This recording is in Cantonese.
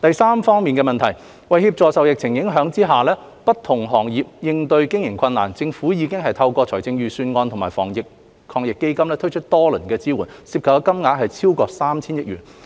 三為協助受疫情影響的不同行業應對經營困難，政府已透過財政預算案及防疫抗疫基金推出多輪支援措施，涉及金額合計超過 3,000 億元。